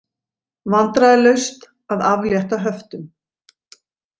Vandræðalaust að aflétta höftum